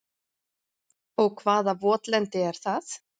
Og hvaða votlendi er það?